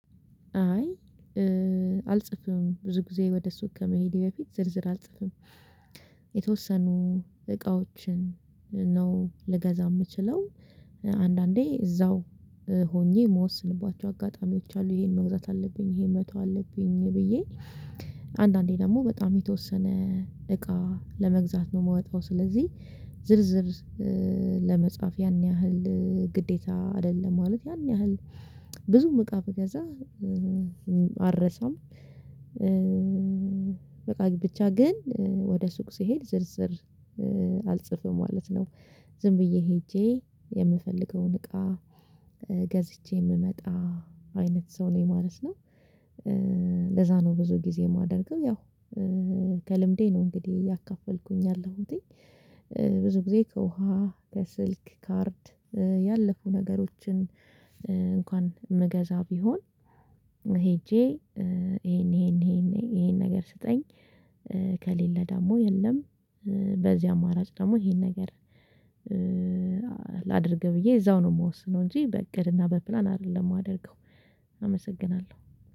አይ አልጽፍም ብዙ ጊዜ ወደ ሱቅ ከመሄዴ በፊት ዝርዝር አልጽፍም። የተወሰኑ እቃዎችን ነው ልገዛ የምችለው አንዳንዴ እዛው ሆኜ ምወስንባቸው አጋጣሚዎች አሉ ይሄን መግዛት አለብኝ ይሄን መተው አለብኝ ብዬ። አንዳንዴ ደግሞ በጣም የተወሰነ እቃ ለመግዛት ነው የምወጣው ስለዚህ ዝርዝር ለመጻፍ ያን ያህል ግዴታ አይደለም ማለት ያን ያህል ብዙም እቃ ብገዛ አልረሳም። በቃ ብቻ ግን ወደ ሱቅ ስሄድ ዝርዝር አልጽፍም ማለት ነው። ዝም ብዬ ሄጄ የምፈልገውን እቃ ገዝቼ የምመጣ አይነት ሰው ነኝ ማለት ነው። ለዛ ነው ብዙ ጊዜ የማደርገው ያው ከልምዴ ነው እንግዲህ ያካፈልኩኝ ያለሁትኝ። ብዙ ጊዜ ከውሃ ከስልክ ካርድ ያለፉ ነገሮችን እንኳን ምገዛ ቢሆን ሄጄ ይሄን ይሄን ይሄን ይሄን ነገር ስጠኝ። ከሌለ ደግሞ የለም። በዚህ አማራጭ ደግሞ ይሄን ነገር ላድርግ ብዬ እዛው ነው የምወስነው እንጂ በእቅድና በፕላን አይደለም የማደርገው። አመሰግናለሁ